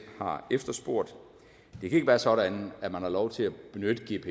har efterspurgt det kan ikke være sådan at man har lov til at benytte